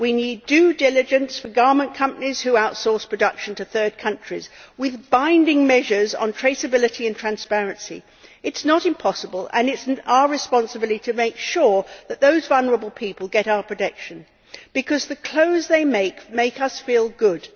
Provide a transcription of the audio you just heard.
We need due diligence for garment companies that outsource production to third countries, with binding measures on traceability and transparency. It is not impossible and it is our responsibility to make sure that those vulnerable people get our protection because the clothes they make, make us feel good.